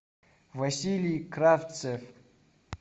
василий кравцев